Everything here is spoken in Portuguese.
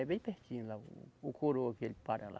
É bem pertinho lá, o, o coroa que ele para lá.